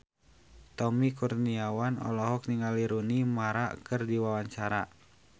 Tommy Kurniawan olohok ningali Rooney Mara keur diwawancara